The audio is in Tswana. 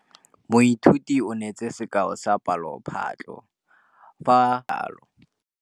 Moithuti o neetse sekaô sa palophatlo fa ba ne ba ithuta dipalo.